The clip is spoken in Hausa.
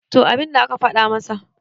to abinda aka fada masa